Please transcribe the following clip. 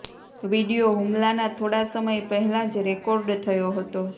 video હુમલાના થોડા સમય પહેલા જ રેકોર્ડ થયો હતો